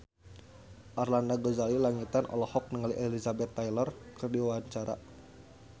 Arlanda Ghazali Langitan olohok ningali Elizabeth Taylor keur diwawancara